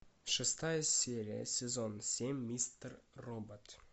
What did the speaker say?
шестая серия сезон семь мистер робот